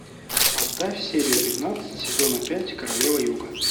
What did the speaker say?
поставь серию пятнадцать сезона пять королева юга